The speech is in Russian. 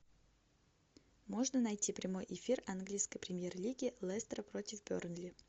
можно найти прямой эфир английской премьер лиги лестер против бернли